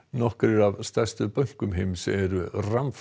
nokkrir af stærstu bönkum heims eru